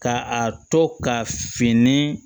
Ka a to ka fini